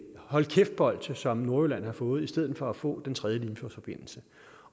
hold kæft bolsje som nordjylland har fået i stedet for at få den tredje limfjordsforbindelse